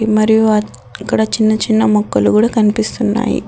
మరియు అక్కడ చిన్న చిన్న మొక్కలు గూడా కనిపిస్తున్నాయి.